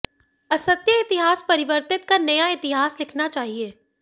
असत्य इतिहास परिवर्तित कर नया इतिहास लिखना चाहिए